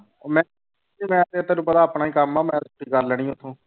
ਮੈਂ ਮੈਂ ਤੇ ਤੈਨੂੰ ਪਤਾ ਆਪਣਾ ਹੀ ਕੰਮ ਆ ਮੈਂ ਛੁੱਟੀ ਕਰ ਲੈਣੀ ਉੱਥੋਂ।